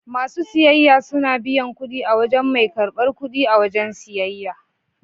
Masu siyayya suna biyan kudi a wajen mai karbar kudi a wajen siyayya.